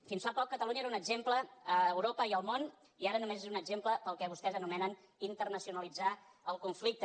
fins fa poc catalunya era un exemple a europa i al món i ara només és un exemple per al que vostès anomenen internacionalitzar el conflicte